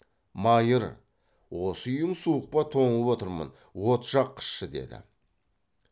майыр осы үйің суық па тоңып отырмын от жаққызшы деді